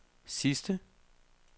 sidste